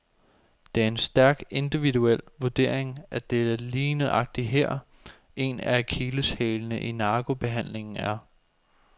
Det er en stærk individuel vurdering, og det er lige nøjagtig her, en af akilleshælene i narkobehandlingen er.